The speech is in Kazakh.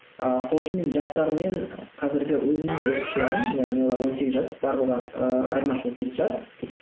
ыыы сол үшін мен жастар мен қазіргі өзімнің оқушыларым яғни олар он сегіз жас барлығы ыыы айырмашылығы жеті жас